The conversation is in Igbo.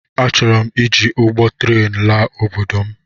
Achọrọm iji ụgbọ tren laa obodo m